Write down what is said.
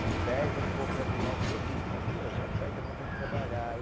Se perde um pouco ali no alcoolismo, ali ó, já perde a vontade de trabalhar.